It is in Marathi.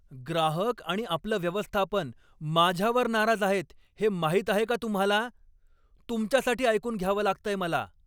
ग्राहक आणि आपलं व्यवस्थापन माझ्यावर नाराज आहेत हे माहीत आहे का तुम्हाला? तुमच्यासाठी ऐकून घ्यावं लागतंय मला.